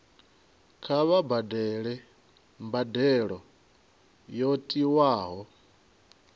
kha vha badele mbadelo yo tiwaho